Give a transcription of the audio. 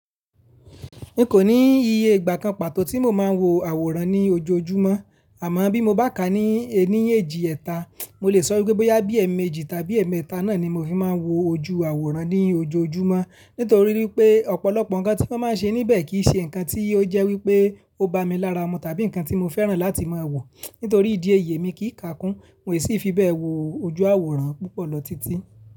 N kò ní iye ìgbà kan pàtó tí mo máa ń wo àwòrán ní ojoojúmọ́, àmọ́ bí mo bá ká ní ẹní eéjì ẹ̀ta, mo lè sọ wípé bóyá bí ẹ̀ẹ̀mẹ́jì tàbí ẹ̀ẹ̀mẹ́ta náà ni mo fi máa ń wo ojú àwòrán ní ojoojúmọ́ nítorí wípé ọ̀pọ̀lọpọ̀ ǹkan tí wọ́n máa ń ṣe níbẹ̀ kì í ṣe ǹkan tí ó jẹ́ wípé ó bá mi lára ọmọ tàbí ǹkan tí mo fẹ́ràn láti máa wò. Nítorí ìdí èyí emi kì í kàkún, no sì fi bẹ́ẹ̀ wo ojú àwòrán púpọ̀ lọ títí.